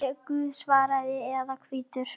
Er Guð svartur eða hvítur?